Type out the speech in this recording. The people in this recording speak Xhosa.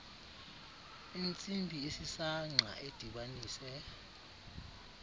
intsimbi esisangqa edibanise